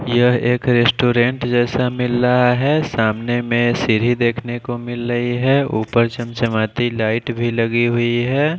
यह एक रेस्टोरेंट जैसा मिल रहा है सामने में सीढ़ी देखने को मिल रही है ऊपर चमचमाती लाइट भी लगी हुई है।